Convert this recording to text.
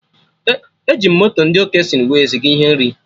Eji m moto ndị Okesịnụ wee ziga ihe nri